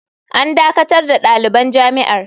“An dakatar da daliban jami’ar.